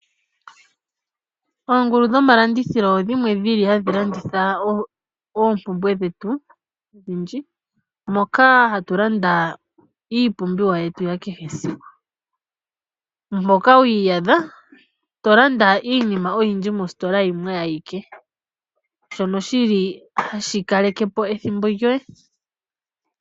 Oongulu dho malandithilo odhimwe dhili hadhi landitha oompumbwe dhetu odhindji, moka hatu landa iipumbiwa yetu ya kehe esiku. Moka ho iyadha to landa iinima oyindji mositola yimwe ayike, shono shili hashi kaleke po ethimbo lyoye.